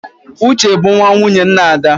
Uche bụ nwa nwunye nna Ada